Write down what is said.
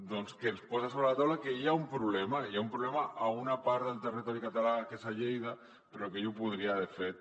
doncs que ens posa sobre la taula que hi ha un problema hi ha un problema en una part del territori català que és a lleida però que jo podria de fet